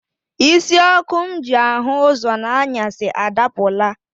Isi ọkụ m ji ahụ ụzọ n'anyasị adapụla.